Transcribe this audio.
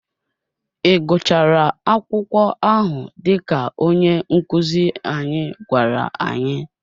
Ị gụchara akwụkwọ ahụ dịka onye nkuzi anyị gwara anyị?